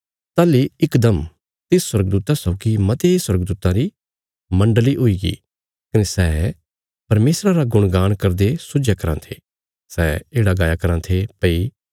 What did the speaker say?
ताहली इकदम तिस स्वर्गदूता सौगी मते स्वर्गदूतां री मण्डली हुईगी कने सै परमेशरा रा गुणगान करदे सुझया कराँ थे सै येढ़ा गाया कराँ थे भई